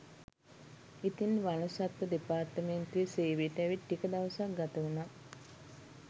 ඉතින් වන සත්ව දෙපාර්තමේන්තුවේ සේවයට ඇවිත් ටික දවසක් ගත වුණා.